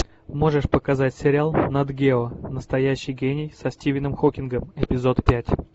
можешь показать сериал нат гео настоящий гений со стивеном хокингом эпизод пять